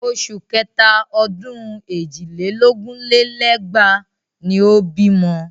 Oṣù kẹta ọdún èjì lé lógún lé lẹ́gbàá ni ó bímọ.